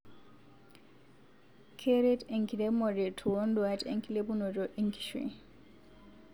keret enkiremore toonduat enkilepunoto enkishui